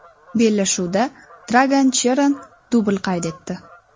Bellashuvda Dragan Cheran dubl qayd etdi.